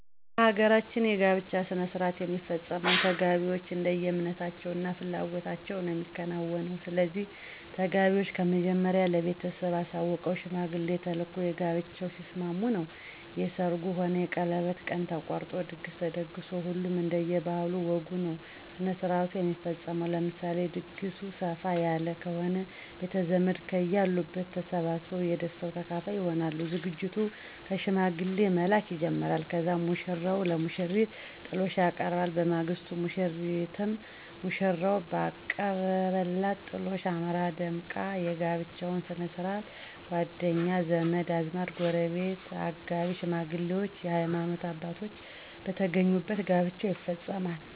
በ ሀገራችን የ ጋብቻ ሥነሥርዓት የሚፈፀመው ተጋቢዎች እንደየ እምነታቸው እና ፍላጎታቸው ነዉ የሚከናወነው። ስለዚህ ተጋቢዎች ከመጀመሪያው ለ ቤተሰብ አሳውቀው ሽማግሌ ተልኮ በጋብቻው ሲስማሙ ነው የ ሰርጉ ሆነ የቀለበት ቀን ተቆርጦ ድግስ ተደግሶ ሁሉም እንደየ ባህል ወጉ ነዉ ስነስርዓቱ የሚፈፀመው። ለምሳሌ ድግሱ ሰፍ ያለ ከሆነ ቤተዘመድ ከየ አሉበት ተሰባስበው የ ደስታው ተካፋይ ይሆናሉ። ዝግጅቱ ከ ሽማግሌ መላክ ይጀመራል ከዛም ሙሽራው ለሙሽሪት ጥሎሽ ያቀርባል። በማግስቱ ሙሽሪትም ሙሽራው ባቀረበላት ጥሎሽ አምራና ደምቃ የ ጋብቻቸው ስነስርዓት ጎደኛ, ዘመድአዝማድ, ጎረቤት ,አጋቢ ሽማግሌዎች የ ሀይማኖት አባቶች በተገኙበት ጋብቻው ይፈፀማል።